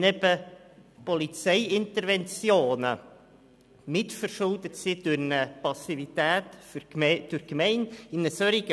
Wenn die Polizeiinterventionen durch eine Passivität seitens der Gemeinde mitverschuldet sind?